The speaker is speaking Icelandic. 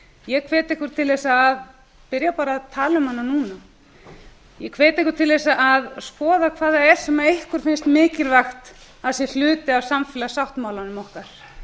ég hvet ykkur til þess að byrja bara að tala um hana núna ég hvet ykkur til að skoða hvað það er sem ykkur finnst mikilvægt að sé hluti af samfélagssáttmálanum okkar